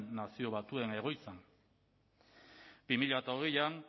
nazio batuen egoitzan bi mila hogeian